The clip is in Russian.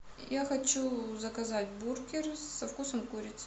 я хочу заказать бургер со вкусом курицы